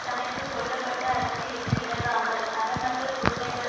தனக்கு சொல்ல பட்ட அறத்திலிருந்து விலகாமல் அறமற்ற கொடுமைகள்